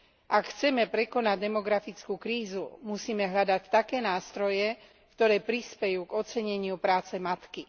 Ak chceme prekonať demografickú krízu, musíme hľadať také nástroje, ktoré prispejú k oceneniu práce matky.